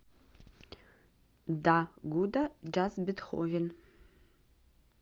да гудда джаз бетховен